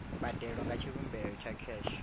mbadelo nga tshivhumbeo tsha kheshe